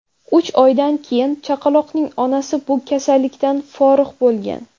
Uch oydan keyin chaqaloqning onasi bu kasallikdan forig‘ bo‘lgan.